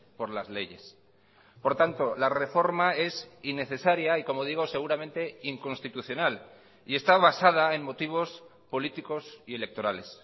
por las leyes por tanto la reforma es innecesaria y como digo seguramente inconstitucional y está basada en motivos políticos y electorales